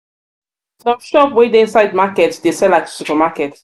shop wey dey inside market dey sell like super market.